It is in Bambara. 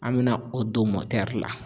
An me na o don la.